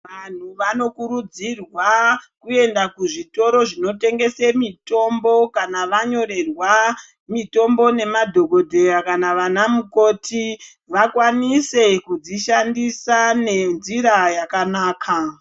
Vantu vanokurudzirwa kuenda kuzvitoro zvinotengese mitombo kana vanyorerwa mitombo nemadhogodheya kana vana mukoti. Vakwanise kudzishandisa nenzira yakanaka.